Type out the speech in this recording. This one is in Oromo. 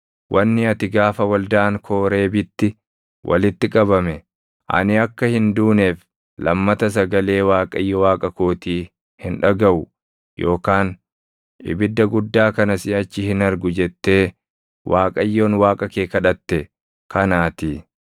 Wanni ati gaafa waldaan Kooreebitti walitti qabame, “Ani akka hin duuneef lammata sagalee Waaqayyo Waaqa kootii hin dhagaʼu yookaan ibidda guddaa kana siʼachi hin argu” jettee Waaqayyoon Waaqa kee kadhatte kanaatii.